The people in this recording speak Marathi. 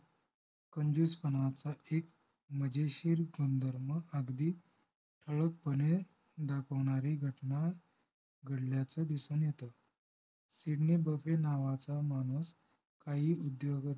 कंजूसपणाचं एक मजेशीर गुणधर्म अगदी ठळक पणे दाखवणारी घटना घडल्याचं दिसून येतं सिडनी बफे नावाचा माणूस काही उद्योग